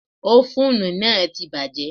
Ófúnù náà ti bàjẹ́.